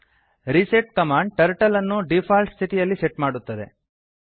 reset command turtle ಅನ್ನು default ಸ್ಥಿತಿಯಲ್ಲಿ set ಮಾಡುತ್ತದೆ